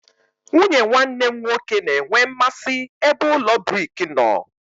Nwunye nwanne m nwoke na-enwe mmasị ebe ụlọ brik nọ.